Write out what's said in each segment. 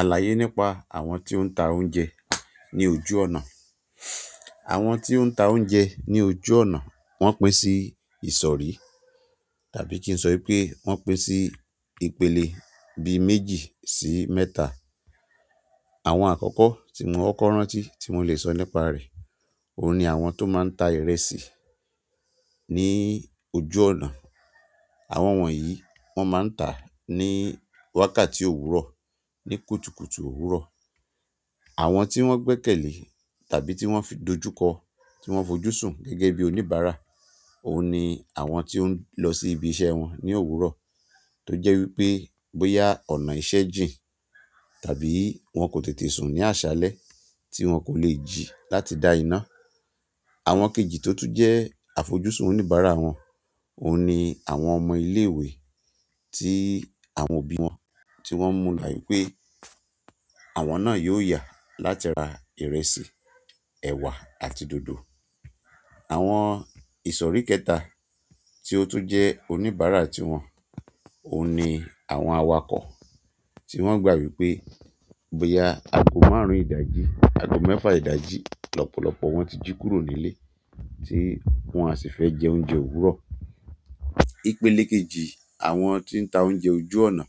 Àlàyé nípa àwọn tí o ń ta oúnjẹ ní ojú ọ̀nà. Àwọn tí o ń ta oúnjẹ ní ojú ọ̀nà wọ́n pín sí ìsọ̀rí tàbí kí n sọ wípé wọ́n pín sí ìpele bíi méjì sí mẹ́ta. Àwọn àkọ́kọ́ tí mo kọkọ́ rántí tí mo lè sọ nípa rẹ̀, òun ni àwọn tó máa ń ta ìrẹsì ní ojú ọ̀nà. Àwọn wọ̀nyí wọ́n máa ń tà ní wákàtí òwúrọ̀, ní kùtùkùtù òwúrọ̀. Àwọn tí wọ́n gbẹ́kẹ̀lé tàbí tí wọ́n fi dojúkọ, tí wọ́n fojúsùn gẹ́gẹ́ bí oníbàárà òun ni àwọn tí ó ń lọ sí ibi iṣẹ́ wọn ní òwúrọ̀ tó jẹ́ wípé bóyá ọ̀nà ìṣe jìn tàbí wọ́n kò tètè sùn ní àṣálẹ́ tí wọ́n kò lè jí láti dá iná. Àwọn kejì tó tún jẹ́ àfojúsùn oníbàárà wọn, òun ni àwọn ọmọ ilé ìwé tí àwọn òbí wọn tí wọ́n mú like pẹ́. Àwọn náà yóò yà láti ra ìrẹsì, ẹ̀wà àti dòdò. Àwọn ìsọ̀rí kẹta tí ó tún jẹ́ oníbàárà tiwọn, òun ni àwọn awakọ̀ tí wọ́n gbà wípé bóyá ago márùn ìdajì, ago mẹ́fà ìdajì lọ́pọ̀lọpọ̀ wọ́n ti jí kúrò nílé tí wọ́n a sì fẹ́ jẹ oúnjẹ òwúrọ̀. Ìpele kejì àwọn tí ń ta oúnjẹ ojú ọ̀nà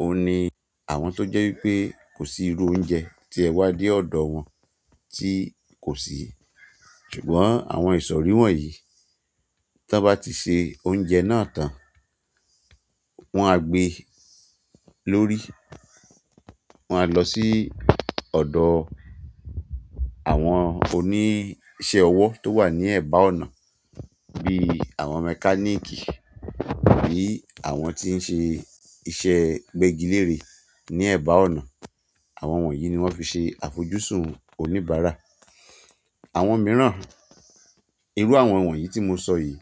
òun ni àwọn tó jẹ́ wípé kò sí irú oúnjẹ tí ẹ wá dé ọ̀dọ̀ wọn tí kò sí. Ṣùgbọ́n àwọn ìsọ̀rí wọ̀nyí tó bá ti ṣe oúnjẹ náà tán, wọ́n á gbé lórí, wọ́n á lọ sí ọ̀dọ̀ àwọn oníṣẹ́ ọwọ́ tó wà ní ẹ̀bá ọ̀nà bí àwọn mechanic, àbí àwọn tí ń ṣe iṣẹ́ gbẹ́gilére ní ẹ̀bá ọ̀nà. Àwọn wọ̀nyí ni wọ́n fi ṣe àfojúsùn oníbàárà. Àwọn mìíràn, irú àwọn wọ̀nyí tí mo sọ yìí,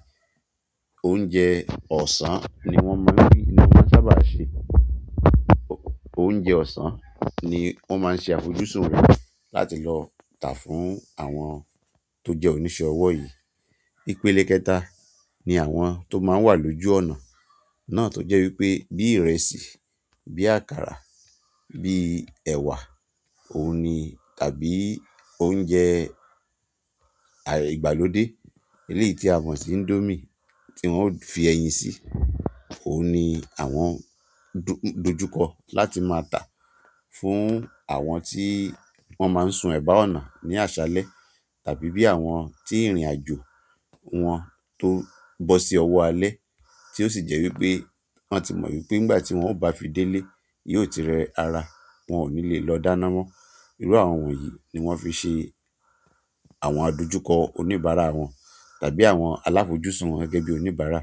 oúnjẹ ọ̀sán ni wọ́n mọ̀ n ní, ni wọ́n sábà ṣe. Oúnjẹ ọ̀sán ni wọ́n máa ń ṣe àfojúsùn rẹ̀ láti lọ tà fún àwọn tó jẹ́ oníṣẹ́ ọwọ́ yìí. Ìpele kẹta ni àwọn tó máa ń wà lójú ọ̀nà náà tó jẹ́ wípé bí ìrẹsì, bí àkàrà, bí ẹ̀wà òun ni tàbí oúnjẹ àyè ìgbàlódé eléyìí tí a mọ̀ sí Indomie tí wọ́n ó fi ẹyin sí, òun ni àwọn dojúkọ láti máa tà fún àwọn tí wọ́n máa ń sun ẹ̀bá ọ̀nà ní àṣálẹ́ tàbí bí àwọn tí ìrìnàjò wọn tó bọ́ sí ọwọ́ alẹ́ tí ó sì jẹ́ wípé wọ́n ti mọ̀ wípé nígbà tí wọ́n ó bá fi délé yó ti rẹ ara, wọ́n ò ní lè lọ dáná mọ́. Irú àwọn wonyìí ni wọ́n fi ṣe àwọn adójúkọ oníbàárà wọn tàbí àwọn alàfojúsùn wọn gẹ́gẹ́ bí oníbàárà.